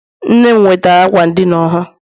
Nne m nwetara m ákwà ndina ọhụrụ.